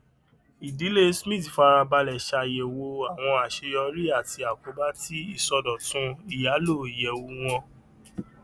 ìdílé smith fara balẹ ṣàyẹwò àwọn àṣeyọrí àti àkóbá ti ìṣòdòtún ìyàlò iyẹwù wọn